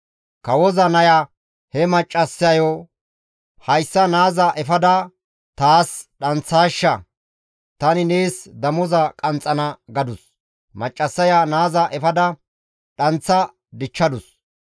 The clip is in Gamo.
Kawoza naya he maccassayo, «Hayssa naaza efada taas dhanththaashsha; tani nees damoza qanxxana» gadus. Maccassaya naaza efada dhanththa dichchadus.